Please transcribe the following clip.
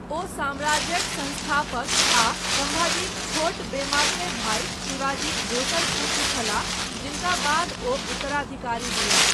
ओ साम्राज्यक संस्थापक आ सम्भाजीक छोट वेमात्रेय भाई शिवाजीक दोसर पुत्र छलाह, जिनका बाद ओ उत्तराधिकारी भेलाह।